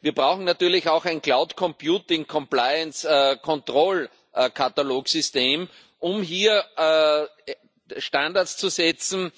Wir brauchen natürlich auch ein Cloud Computing Compliance Control Katalogsystem, um hier Standards zu setzen,